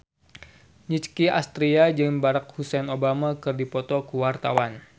Nicky Astria jeung Barack Hussein Obama keur dipoto ku wartawan